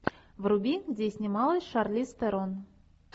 вруби где снималась шарлиз терон